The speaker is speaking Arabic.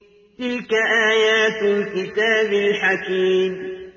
تِلْكَ آيَاتُ الْكِتَابِ الْحَكِيمِ